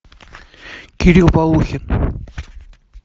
кирилл полухин